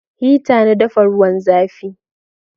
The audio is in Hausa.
Hita na dafa ruwan zafi